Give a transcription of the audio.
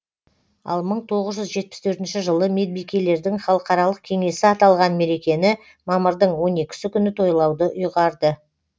ал мың тоғыз жүз жетпіс төртінші жылы медбикелердің халықаралық кеңесі аталған мерекені мамырдың он екісі күні тойлауды ұйғарды